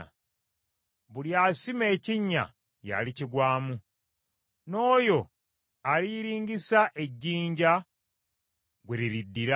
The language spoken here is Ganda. Buli asima ekinnya y’alikigwamu, n’oyo aliyiringisa ejjinja gwe liriddira.